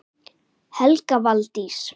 Helga Valdís.